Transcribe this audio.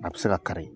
A bɛ se ka kari